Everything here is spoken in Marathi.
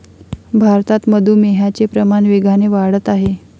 भारतात मधुमेहाचे प्रमाण वेगाने वाढत आहे.